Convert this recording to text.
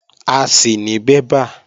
A sì ní bébà